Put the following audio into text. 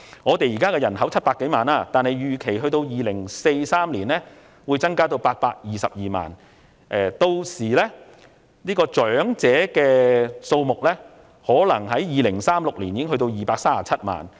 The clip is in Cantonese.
香港現時人口約700多萬，預期至2043年時，會增至822萬人；至2036年，長者數目或會多達237萬人。